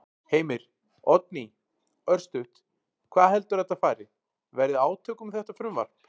Heimir: Oddný, örstutt, hvað heldurðu að þetta fari, verði átök um þetta frumvarp?